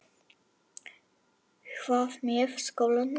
Hvað með skólann minn?